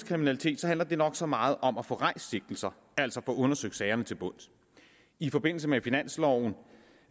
kriminalitet handler det nok så meget om at få rejst sigtelser altså få undersøgt sagerne til bunds i forbindelse med finansloven